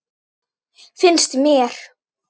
Finnst mér.